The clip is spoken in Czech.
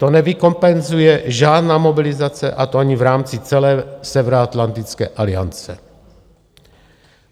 To nevykompenzuje žádná mobilizace, a to ani v rámci celé Severoatlantické aliance.